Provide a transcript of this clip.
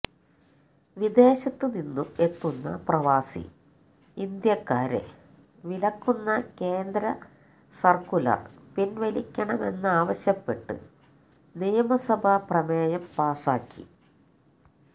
വിദേശത്ത് നിന്നും എത്തുന്ന പ്രവാസി ഇന്ത്യക്കാരെ വിലക്കുന്ന കേന്ദ്ര സര്ക്കുലര് പിന്വലിക്കണമെന്നാവശ്യപ്പെട്ട് നിയമസഭ പ്രമേയം പാസാക്കി